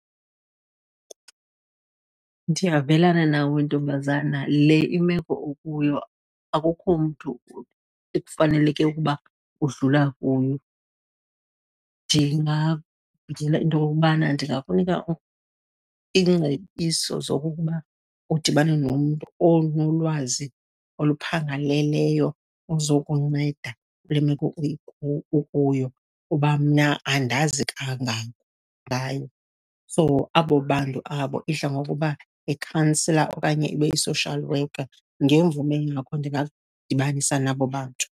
Ndiyavelana nawe ntombazana, le imeko ukuyo akukho mntu ekufaneleke ukuba udlula kuyo. Into okokubana ndingakunika iingcebiso zokokuba udibane nomntu onolwazi oluphangaleleyo ozokunceda kule meko ukuyo kuba mna andazi kangako ngayo. So, abo bantu abo idla ngokuba yikhansila okanye ibe yi-social worker. Ngemvume yakho ndingakudibanisa nabo bantu.